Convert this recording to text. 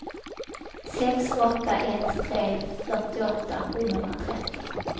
sex åtta ett tre fyrtioåtta sjuhundratrettio